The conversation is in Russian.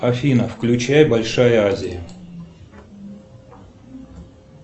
афина включай большая азия